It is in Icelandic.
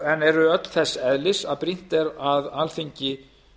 en eru öll þess eðlis að brýnt er að alþingi